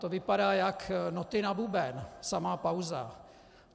To vypadá jak noty na buben, samá pauza.